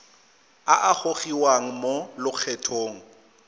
a a gogiwang mo lokgethong